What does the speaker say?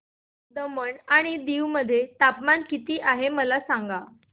दमण आणि दीव मध्ये तापमान किती आहे मला सांगा